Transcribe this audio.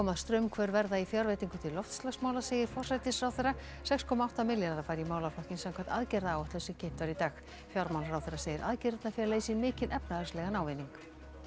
straumhvörf verða í fjárveitingum til loftslagsmála segir forsætisráðherra sex komma átta milljarðar fara í málaflokkinn samkvæmt aðgerðaáætlun sem kynnt var í dag fjármálaráðherra segir aðgerðirnar fela í sér mikinn efnahagslegan ávinning